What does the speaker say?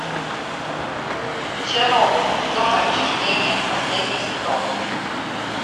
чернобыль зона отчуждения последний сезон